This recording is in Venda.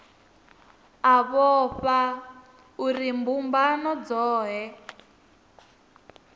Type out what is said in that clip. a vhofha uri mbumbano dzohe